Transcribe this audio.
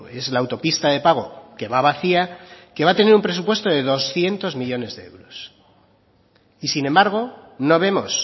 es la autopista de pago que va vacía que va a tener un presupuesto de doscientos millónes de euros y sin embargo no vemos